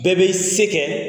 Bɛɛ bɛ i se kɛ